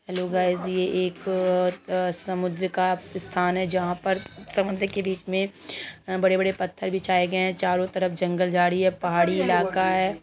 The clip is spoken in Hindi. हैलो गाइज ये एक आ समुद्र का स्थान है जहां पर समुद्र के बीच में बड़े-बड़े पत्थर बिछाये गए हैचारो तरफ जंगल झाड़ी है पहाड़ी इलाका है।